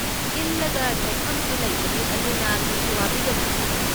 ꯏꯜꯂꯒ ꯆꯠꯐꯝꯁꯨ ꯂꯩꯒꯅꯤ, ꯑꯗꯨꯅ ꯀꯩꯁꯨ ꯋꯥꯕꯤꯒꯅꯨ꯫